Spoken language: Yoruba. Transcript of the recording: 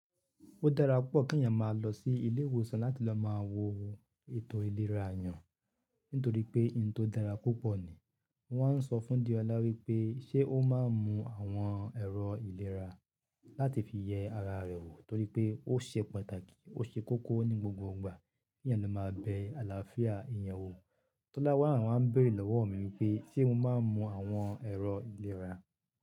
Ó dára púpọ̀ kí ènìyàn máa lọ sí ilé ìwòsàn láti lọ máa wo ètò ìlera eyàn. Nítorí pé ohun tó dára púpọ̀ ni, wọ́n ń sọ fún Diọlá wípé ṣé ó máa ń mu àwọn ẹ̀rọ ìlera láti fi yẹ ara rẹ̀ wò torí pé ó ṣe pàtàkì, ó ṣe kókó ní gbogbo ìgbà kí èyàn lo máa bẹ àlàáfíà eyàn wò. Tọ́lá wá a n, ń bèrè lọ́wọ́ mi wípé ṣé mo máa ń mu àwọn ẹ̀rọ ìlera?